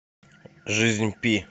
жизнь пи